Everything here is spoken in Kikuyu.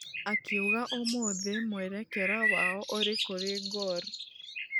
Akĩuga ũmũthĩ mwĩrekera wao ũrĩ kũri gor.